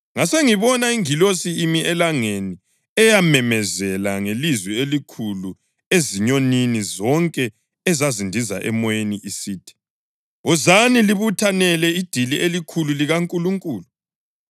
Ngasengibona ingilosi imi elangeni eyamemezela ngelizwi elikhulu ezinyonini zonke ezazindiza emoyeni isithi, “Wozani libuthanele idili elikhulu likaNkulunkulu